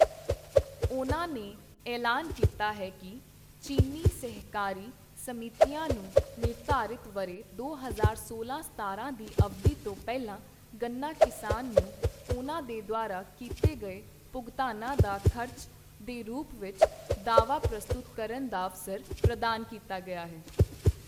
ਉਨ੍ਹਾਂ ਨੇ ਐਲਾਨ ਕੀਤਾ ਹੈ ਕਿ, ਚੀਨੀ ਸਹਿਕਾਰੀ ਸਮਿਤੀਆਂ ਨੂੰ ਨਿਰਧਾਰਿਤ ਵਰ੍ਹੇ ਦੋ ਹਜ਼ਾਰ ਸੋਲਾਂ-ਸਤਾਰਾਂ ਦੀ ਅਵਧੀ ਤੋਂ ਪਹਿਲਾਂ ਗੰਨਾ ਕਿਸਾਨਾਂ ਨੂੰ ਉਨ੍ਹਾਂ ਦੇ ਦੁਆਰਾ ਕੀਤੇ ਗਏ ਭੁਗਤਾਨਾਂ ਦਾ ਖ਼ਰਚ ਦੇ ਰੂਪ ਵਿੱਚ ਦਆਵਾ ਪ੍ਰਸਤੁਤ ਕਰਨ ਦਾ ਅਵਸਰ ਪ੍ਰਦਾਨ ਕੀਤਾ ਗਿਆ ਹੈ।